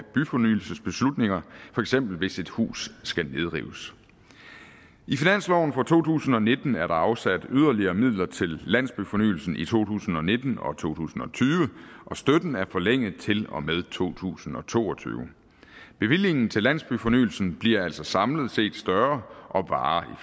byfornyelsesbeslutninger for eksempel hvis et hus skal nedrives i finansloven for to tusind og nitten er der afsat yderligere midler til landsbyfornyelsen i to tusind og nitten og to tusind og tyve og støtten er forlænget til og med to tusind og to og tyve bevillingen til landsbyfornyelsen bliver altså samlet set større og varer